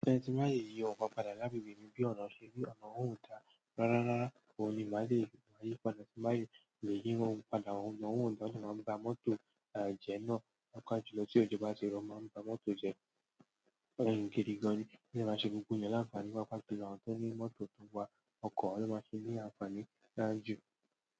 Ehn tí m bá lè yí ohun kan padà lágbègbè mi, bí ọ̀nà ṣe rí ọ̀nà ohun ó dáa. Rárá, rárá, òun ni máa lè máa yí padà tí n bá sì lè yí wọn padà, àwọn ọ̀nà ohun ó daá, ó dẹ̀ máa ń bà mọ́tò, jẹ náà. Pàápàá jù lọ tí òjò bá ti rọ̀ ó máa ń bà mọ́tò jẹ, gidi gan ni ó dẹ̀ máa ṣe gbogbo èèyàn làǹfààní pàápàá jù lọ àwọn tó ní mọ́tò tó ń wa ọkọ̀, àwọn ló mmáa ṣe ní àǹfààní tó dáa jù.